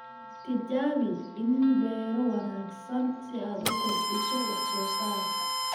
Tijaabi iniin beero wanaagsan si aad u kordhiso wax-soo-saarka.